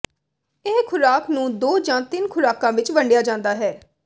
ਇਹ ਖੁਰਾਕ ਨੂੰ ਦੋ ਜਾਂ ਤਿੰਨ ਖ਼ੁਰਾਕਾਂ ਵਿੱਚ ਵੰਡਿਆ ਜਾਂਦਾ ਹੈ